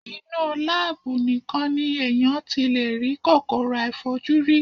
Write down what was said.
Inú láábù nìkan ni èèyàn ti lè rí kòkòrò àìfojúrí.